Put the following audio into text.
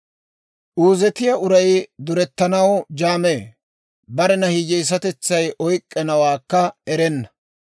Uuzetiyaa uray durettanaw jaamee; barena hiyyeesatetsay oyk'k'anawaakka erenna.